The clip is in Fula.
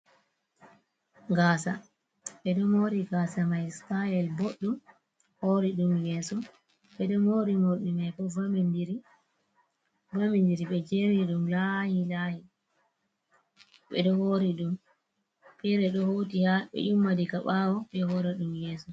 Gasa ɓeɗo mori gasa mai sitayel boɗɗum, hori ɗum yeso ɓeɗo mori morɗi mai bo vamindiri ɓe jeri ɗum lahi lahi ɓeɗo hori ɗum fere ɗo hauti ha ɓe yummi diga bawo ɓe hori ɗum yeso.